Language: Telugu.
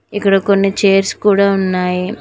ఇక్కడ కొన్ని చైర్స్ కూడా ఉన్నాయి నాక్--